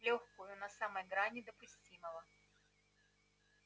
лёгкую на самой грани допустимого